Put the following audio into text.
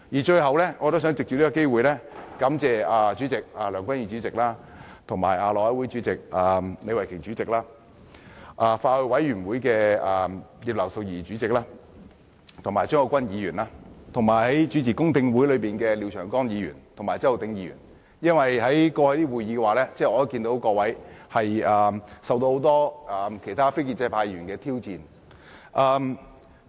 最後，我也想藉此機會感謝梁君彥主席、內務委員會主席李慧琼議員、法案委員會的主席葉劉淑儀議員和副主席張國鈞議員，以及主持公聽會的廖長江議員及周浩鼎議員，因為在過去的會議上，我看到各位受到很多其他非建制派議員的挑戰。